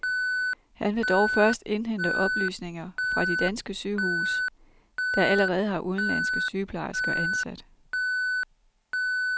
Han vil dog først indhente oplysninger fra de danske sygehuse, der allerede har udenlandske sygeplejersker ansat.